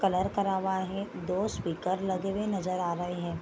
Colour करा हुआ है दो स्पीकर लगे हुए नजर आ रहे है।